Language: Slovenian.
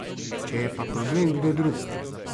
Če je pa problem kdo drug ...